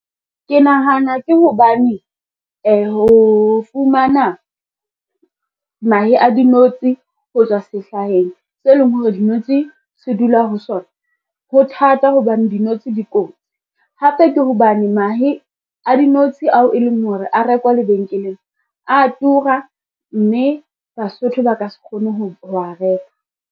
Ke nahana ke hobane ho fumana mahe a dinotshi ho tswa sehlaheng, se leng hore dinotshi se dula ho sona, ho theha thata hobane di notshi di kotsi. Hape ke hobane mahe a dinotshi ao e leng hore a rekwa lebenkeleng a tura, mme Basotho ba ka se kgone ho a reka.